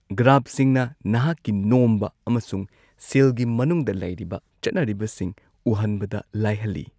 ꯒ꯭ꯔꯥꯐꯁꯤꯡꯅ ꯅꯍꯥꯛꯀꯤ ꯅꯣꯝꯕ ꯑꯃꯁꯨꯡ ꯁꯤꯜꯒꯤ ꯃꯅꯨꯡꯗ ꯂꯩꯔꯤꯕ ꯆꯠꯅꯔꯤꯕꯁꯤꯡ ꯎꯍꯟꯕꯗ ꯂꯥꯏꯍꯜꯂꯤ꯫